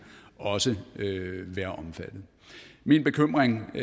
også være omfattet min bekymring i